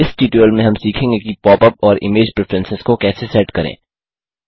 इस ट्यूटोरियल में हम सीखेंगे कि पॉप अप और इमेज प्रिफेरेंसस को कैसे सेट करें